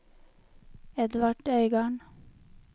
Edvard Øygarden